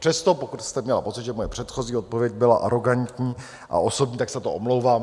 Přesto pokud jste měla pocit, že moje předchozí odpověď byla arogantní a osobní, tak se za to omlouvám.